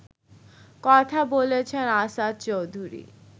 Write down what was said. কথা বলেছেন আসাদ চৌধুরী